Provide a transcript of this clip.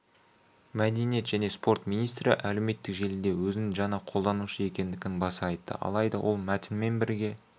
мәдениет және спорт министрі әлеуметтік желіде өзінің жаңа қолданушы екендігін баса айтты алайда ол мәтінмен бірге